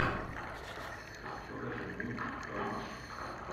покажи мультик про машу